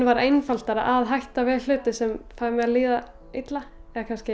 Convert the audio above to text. varð einfaldara að hætta við hluti sem fá mig til að líða illa